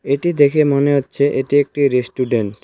এটি দেখে মনে হচ্ছে এটি একটি রেস্টুরেন্ট ।